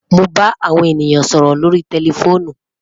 Mo ba awo ènìyàn sọrọ lórí tẹlifoonù